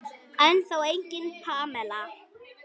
Ennþá engin Pamela.